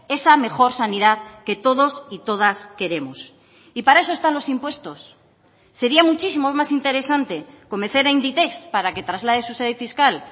esa mejor sanidad que todos y todas queremos y para eso están los impuestos sería muchísimo más interesante convencer a inditex para que traslade su sede fiscal